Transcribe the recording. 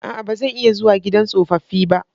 A'a! Ba zan iya zuwa gidan tsofaffi ba.